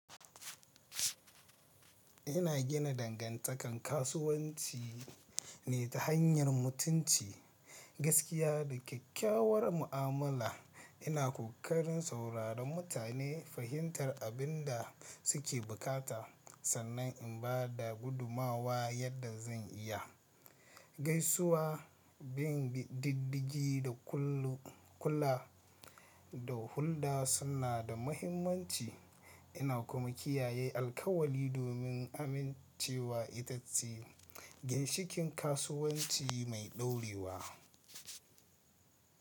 Ina gina dangantakar kasuwanci ne ta hanyar mutunci, gaskiya da kyakkyawar mu'amala. Ina ƙoƙarin saurara mutane, fahimtar abin da suke buƙata sannan in ba da gudummawa yadda zan iya. Gaisuwa, bin diddigi da kula da hulɗa suna da mahimmanci. Ina kuma kiyaye alkawali domin amincewa itacce ginshikin kasuwanci mai ɗauri wa.